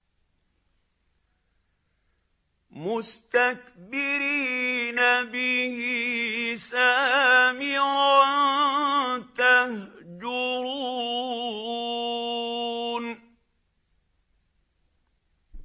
مُسْتَكْبِرِينَ بِهِ سَامِرًا تَهْجُرُونَ